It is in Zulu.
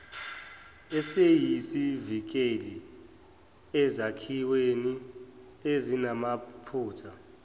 esiyisivikeli ezakhiweni ezinamaphutha